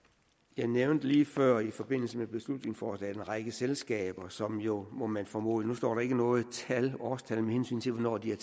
jeg nævnte lige før i forbindelse med beslutningsforslaget en række selskaber som jo må man formode nu står der ikke noget årstal med hensyn til hvornår de